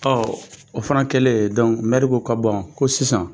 o fana kɛlen ko ko ko sisan